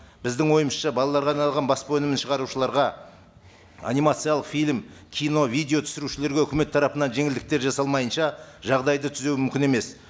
біздің ойымызша балаларға арналған баспа өнімін шығарушыларға анимациялық фильм кино видео түсірушілерге өкімет тарапынан жеңілдктер жасалмайынша жағдайды түзеу мүмкін емес